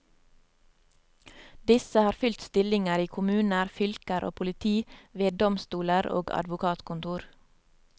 Disse har fylt stillinger i kommuner, fylker og politi, veddomstoler og advokatkontor.